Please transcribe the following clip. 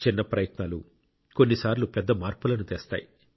చిన్న ప్రయత్నాలు కొన్నిసార్లు పెద్ద మార్పులను తెస్తాయి